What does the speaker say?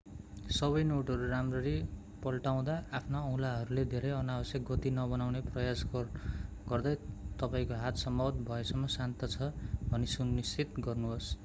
सबै नोटहरूराम्ररी पल्टाउँदा आफ्ना औँलाहरूले धेरै अनावश्यक गति नबनाउने प्रयास गगर्दै तपाईंको हात सम्भव भएसम्म शान्त छ भनि सु निश्चित गर्नुहोस्